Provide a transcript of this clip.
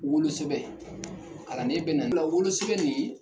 Wolo sɛbsn, kalanden bɛ na wolosɛbɛn nin